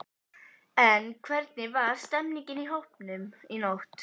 En hvernig var stemningin í hópnum í nótt?